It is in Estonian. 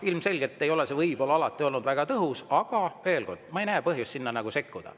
Ilmselgelt ei ole see alati olnud väga tõhus, aga ma ei näe põhjust sinna sekkuda.